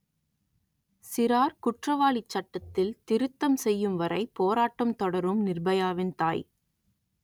சிறார் குற்றவாளிச் சட்டத்தில் திருத்தம் செய்யும்வரை போராட்டம் தொடரும் நிர்பயாவின் தாய்